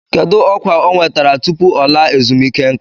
Kedu ọkwa ọ nwetara tupu ọ laa ezumike nka?